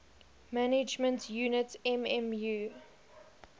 management unit mmu